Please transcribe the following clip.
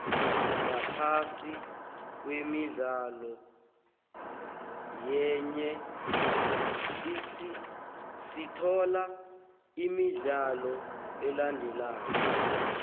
ngaphasi kwemidlalo yanje sithola imidlalo elandelako